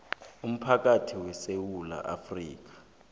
umphakathi wesewula afrika